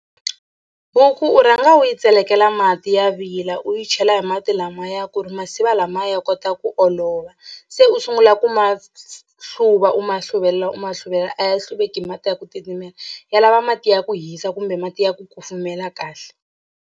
Huku u rhanga u yi tselekela mati ya vila u yi chela hi mati lamaya ku ri masiva lamaya ya kota ku olova se u sungula ku ma hluva u ma hluvelela u ma hluvelela a ya hluveki hi mati ya ku titimela ya lava mati ya ku hisa kumbe mati ya ku kufumela kahle.